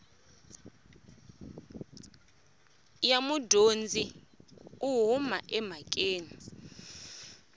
ya mudyondzi u huma emhakeni